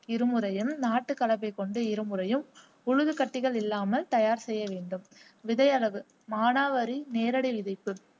இருமுறையும் நாட்டு கலப்பை கொண்டு இருமுறையும் உழுது கட்டிகள் இல்லாமல் தயார் செய்ய வேண்டும் விதை அளவு மானாவரி நேரடி விதைப்பு